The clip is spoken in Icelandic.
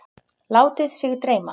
Látið sig dreyma.